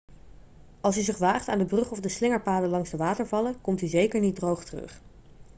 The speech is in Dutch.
als u zich waagt aan de brug of de slingerpaden langs de watervallen komt u zeker niet droog terug